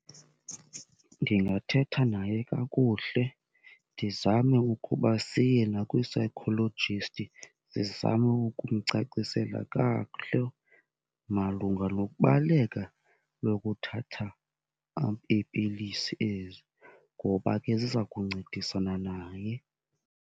Ndingathetha naye kakuhle ndizame ukuba siye nakwii-psychologist, ndizame ukumcacisela kakuhle malunga nokubaleka kokuthatha iipilisi ezi ngoba ke ziza kuncedisana naye.